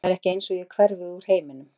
Það er ekki eins og ég hverfi úr heiminum.